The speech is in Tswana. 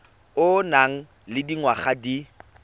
o nang le dingwaga di